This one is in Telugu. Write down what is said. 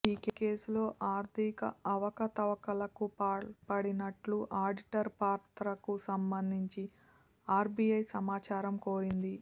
ఈ కేసులో ఆర్థిక అవకతవకలకు పాల్పడినట్లు ఆడిటర్ పాత్రకు సంబంధించి ఆర్బిఐ సమాచారం కోరింది